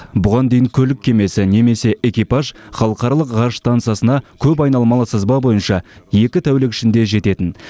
бұған дейін көлік кемесі немесе экипаж халықаралық ғарыш стансасына көп айналмалы сызба бойынша екі тәулік ішінде жететін